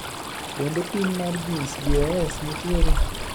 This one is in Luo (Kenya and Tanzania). Bende pim mar gins BOS nitiere?